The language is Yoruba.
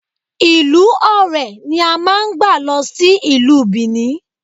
Ìlú Ọ̀rẹ̀ ni a máà ń gbà lọ sí ìlú Bìní